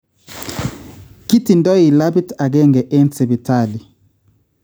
Kitindoi labit agenge en sipitali